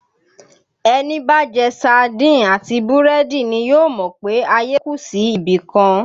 Ẹni bá jẹ saádìn àti búrẹ́dì ni yóò mọ̀ pé ayé kù sí ibìkan